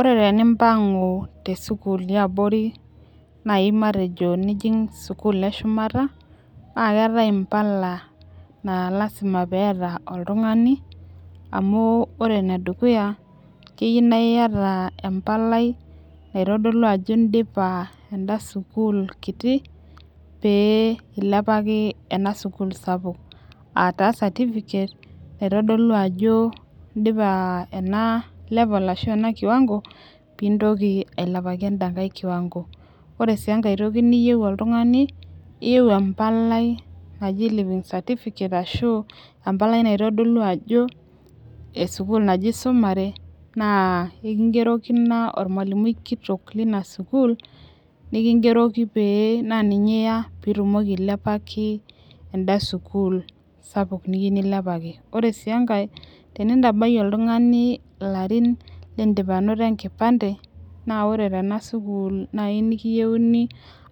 Ore tenimpangu te sukuul yiabori naaji nijing sukuul eshumata naa keetae mpaka naa lasima pee eeta oltungani amu ore ene dukuya keyieu naa iyata empalai. naitodolu ajo idipa eda sukuul kiti. pee ilepaki ena sukuul sapuk. aataa certificate naitodolu ajo idipa ena level ashu ena kiwango pee intoki ailepaki eda nkae kiwango ore sii enkae toki niyieu oltungani iyieu empalai naji living certificate ashu empalai naitodolu ajo esukuul naje isumare. naa ekigeroku Ina olmalimui kitoki leina sukuul. nikigeroki pee naa ninye iya pee itumoki ailepaki eda sukuul sapuk niyieu nilepaki. ore sii enkaej tenintabayie oltungani ilarin kidim anoto enkipande. naa ore tena sukuul naaji nikiyieuni.